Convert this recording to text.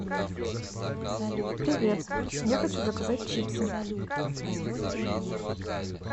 привет я хочу заказать чипсы